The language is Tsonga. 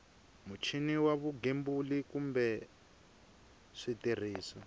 muchini wa vugembuli kumbe switirhiso